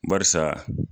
Barisa